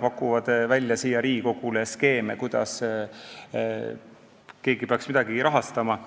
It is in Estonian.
pakutud Riigikogule, see skeem, kuidas keegi peaks midagi rahastama.